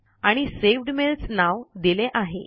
आणि सवेद मेल्स नाव दिले आहे